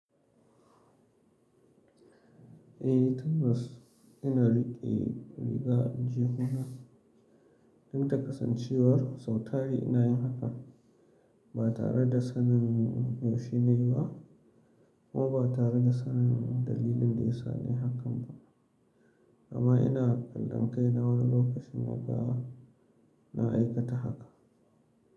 Eh tabbas, ina riƙe riga a aljihuna duk da kasancewar sau tari ina yin hakan ba tare da sanin me shi ne ba kuma ba tare da sanin dalilin da ya sa nayi hakan ba. Amma ina kallon kai na wani lokacin na ga na aikata haka.